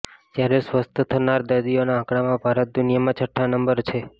જ્યારે સ્વસ્થ થનારા દર્દીઓના આંકડામાં ભારત દુનિયામાં છઠ્ઠા નંબર છે